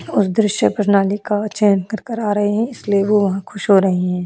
और दृश्य प्रणाली का चयन कर कर आ रहे हैं इसलिए वो खुश हो रहे हैं।